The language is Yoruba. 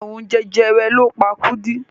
Àrùn jẹjẹrẹ ló pa Kúdí.